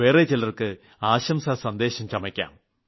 വേറെ ചിലർക്ക് ആശംസാസന്ദേശം ചമയ്ക്കാം